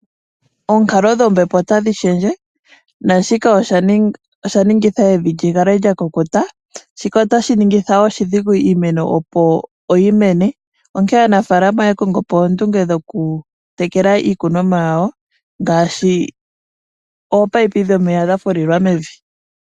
Oonkalo dhombepo otadhi shendje nashika osha ningitha evi lyikale lya kukuta, shika otashi ningitha oshidhigu iimeno opo yi mene onkene aanafalama oya kongo po oondunge dhoku tekela iikunomwa yawo ngashi oopaipi dhomeya dhafulilwa mevi.